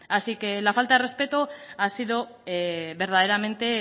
así que la falta de respeto ha sido verdaderamente